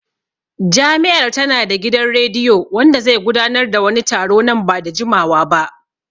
Jami'ar ta na da gidan rediyo wanda zai gudanar da wani taro nan ba da jimawa ba